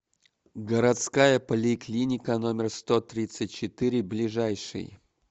городская поликлиника номер сто тридцать четыре ближайший